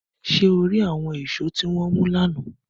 Ṣe o ri awọn eso ti wọn mu lana?